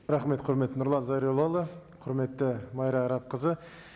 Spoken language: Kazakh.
рахмет құрметті нұрлан зайроллаұлы құрметті майра арапқызы